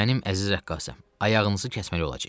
Mənim əziz rəqqasəm, ayağınızı kəsmək olacağıq.